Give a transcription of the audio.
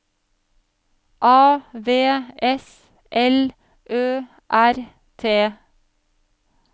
A V S L Ø R T